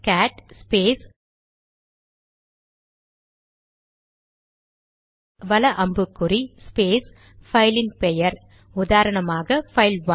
gate space வல அம்புக்குறி space பைலின் பெயர் உதாரணமாக பைல்1